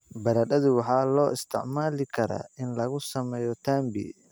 Baradhadu waxaa loo isticmaali karaa in lagu sameeyo tambi.